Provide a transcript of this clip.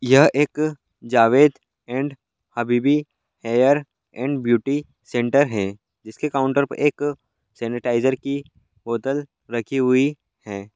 यह एक Javed and Habibi hair and beauty centre है जिसके काउंटर पे एक सैनिटाइजर की बोतल रखी हुई है।